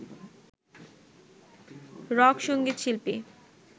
rock সঙ্গীত শিল্পী